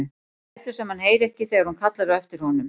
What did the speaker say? Lætur sem hann heyri ekki þegar hún kallar á eftir honum.